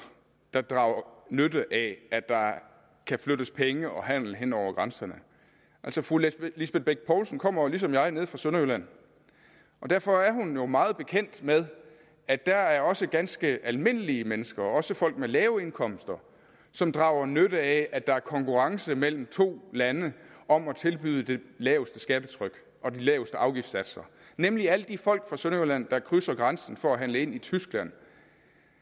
der drager nytte af at der kan flyttes penge og handles hen over grænserne altså fru lisbeth bech poulsen kommer jo lige som jeg nede fra sønderjylland og derfor er hun jo meget bekendt med at der også er ganske almindelige mennesker også folk med lave indkomster som drager nytte af at der er konkurrence mellem to lande om at tilbyde det laveste skattetryk og de laveste afgiftssatser nemlig alle de folk fra sønderjylland der krydser grænsen for at handle i tyskland